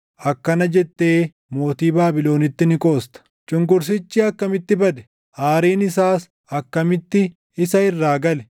akkana jettee mootii Baabilonitti ni qoosta: Cunqursichi akkamitti bade! Aariin isaas akkamitti isa irraa gale!